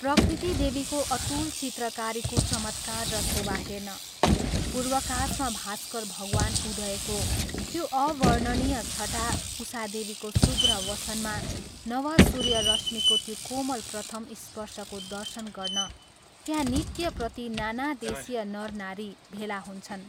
प्रकृतिदेवीको अतुल चित्रकारीको चमत्कार र शोभा हेर्न, पूर्वाकाशमा भास्कर भगवान् उदयको त्यो अवर्णनीय छटा उषादेवीको शुभ्र वसनमा नव सूर्यरश्मिको त्यो कोमल प्रथम स्पर्शको दर्शन गर्न त्यहाँ नित्यप्रति नाना देशीय नरनारी भेला हुन्छन्।